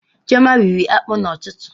Chioma rịrị akpụ n'ụtụtụ